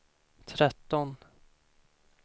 tretton